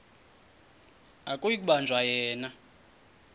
akuyi kubanjwa yena